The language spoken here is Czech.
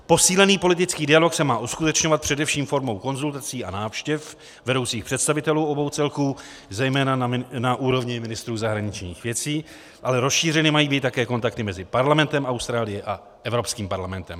Posílený politický dialog se má uskutečňovat především formou konzultací a návštěv vedoucích představitelů obou celků, zejména na úrovni ministrů zahraničních věcí, ale rozšířeny mají být také kontakty mezi parlamentem Austrálie a Evropským parlamentem.